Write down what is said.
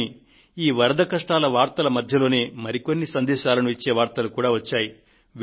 కానీ ఈ వరద కష్టాల వార్తల మధ్యలోనే మరికొన్ని సందేశాలను ఇచ్చే వార్తలు కూడా వచ్చాయి